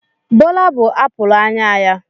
Bola bụ apụl anya ya.